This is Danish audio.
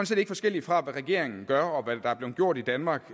set ikke forskelligt fra hvad regeringen gør og hvad der er blevet gjort i danmark